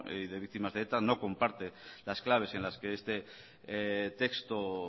y de víctimas de eta no comparten las claves en las que este texto